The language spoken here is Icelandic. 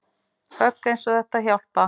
Högg eins og þetta hjálpa